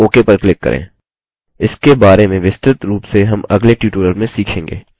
इसके बारे में विस्तृत रूप से हम अगले tutorial में सीखेंगे